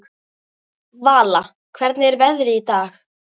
Vala, hvernig er veðrið í dag?